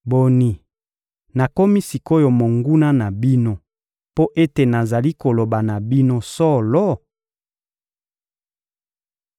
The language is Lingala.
Boni, nakomi sik’oyo monguna na bino mpo ete nazali koloba na bino solo?